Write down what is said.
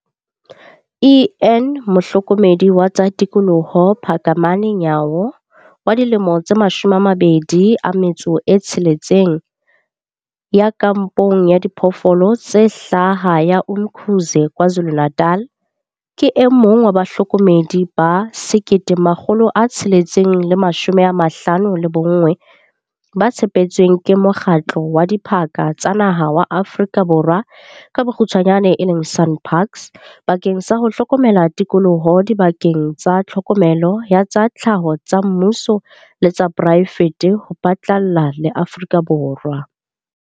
En Mohlokomedi wa tsa tikoloho Phakamani Nyawo wa dilemo tse 26, ya kampong ya Diphoofolo tse Hlaha ya Umkhuze KwaZulu-Natal, ke e mong wa bahlokomedi ba 1 659 ba tshepetsweng ke Mokgatlo wa Diphaka tsa Naha wa Aforika Borwa, SANParks, bakeng sa ho hlokomela tikoloho dibakeng tsa tlhokomelo ya tsa tlhaho tsa mmuso le tsa poraefete ho phatlalla le Aforika Borwa.